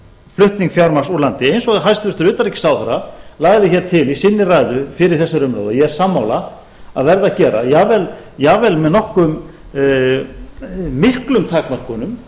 flutning fjármagns úr landi eins og hæstvirtur utanríkisráðherra lagði hér til í sinni ræðu fyrr í þessari umræðu og ég er sammála að verði að gera jafnvel með nokkuð miklum takmörkunum